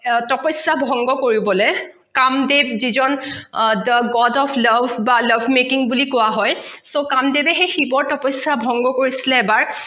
তপশ্যা ভংগ কৰিবলে কামদেৱ যি জন the god of love বা love making বুলি কোৱা হয় so কামদেৱে সেই শিৱৰ তপশ্যা ভংগ কৰিছিলে এবাৰ